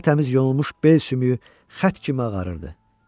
Tər-təmiz yonulmuş bel sümüyü xətt kimi ağarırdı.